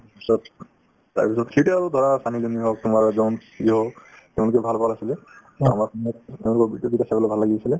পিছত তাৰপিছত সেইটোয়ে আৰু ধৰা ছালী লিয়নি হওক তোমাৰ তেওঁলোকে ভাল ভাল আছিলে ভাল লাগি আছিলে